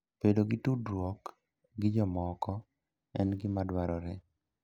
Bedo gi tudruok gi jomoko en gima dwarore.